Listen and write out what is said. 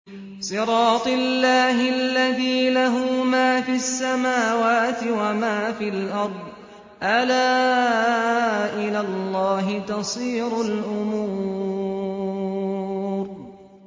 صِرَاطِ اللَّهِ الَّذِي لَهُ مَا فِي السَّمَاوَاتِ وَمَا فِي الْأَرْضِ ۗ أَلَا إِلَى اللَّهِ تَصِيرُ الْأُمُورُ